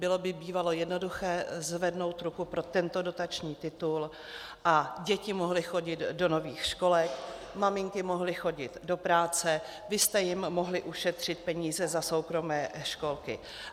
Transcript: Bylo by bývalo jednoduché zvednout ruku pro tento dotační titul a děti mohly chodit do nových školek, maminky mohly chodit do práce, vy jste jim mohli ušetřit peníze za soukromé školky.